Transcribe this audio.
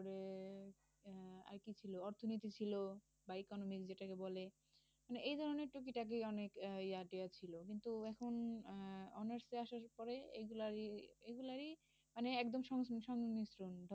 ছিল অর্থনীতি ছিল বা economics যেটাকে বলে। মানে এই ধরনের টুকিটাকি অনেক ইয়াটিয়া ছিল। কিন্তু এখন honours এ আসার পরে এগুলা এগুলা এই মানে একদম সং~ সংক্ষিপ্ত